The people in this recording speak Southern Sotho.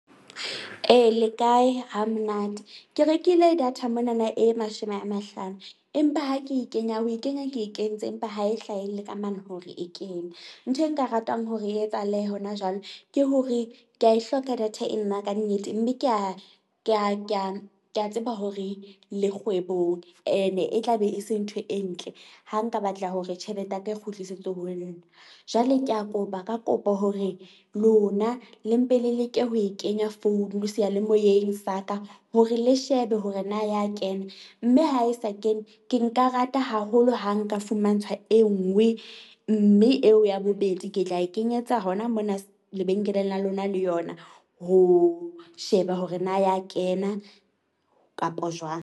E, le kae? Ha monate, ke rekile data mona na e mashome a mahlano, empa ha ke e kenya ho e kenya ke e kentse empa ha e hlahelle ka mane hore e kene. Ntho e nka ratang hore e etsahale hona jwale ke hore ke a e hloka data e nna ka nnete. Mme ke a ke a ke a ke a tseba hore le kgwebong ene e tla be e se ntho e ntle. Ha nka batla hore tjhelete ya ka e kgutlisetswe ho nna. Jwale ke a kopa, ka kopo hore lona le mpe le leke ho e kenya founu seyalemoyeng sa ka hore le shebe hore na ya kena. Mme ha e sa kene ke nka rata haholo ha nka fumantshwa e nngwe. Mme eo ya bobedi ke tla e kenyetsa hona mona lebenkeleng la lona le yona, ho sheba hore na ya kena kapo jwang.